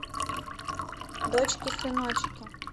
дочки сыночки